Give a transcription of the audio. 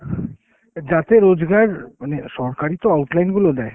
যাতে রোজগার, মানে সরকারই তো outline গুলো দেয়।